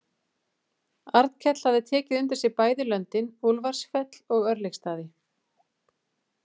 Arnkell hafði tekið undir sig bæði löndin, Úlfarsfell og Örlygsstaði.